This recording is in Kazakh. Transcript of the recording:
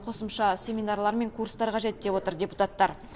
қосымша семинарлар мен курстар қажет деп отыр депутаттар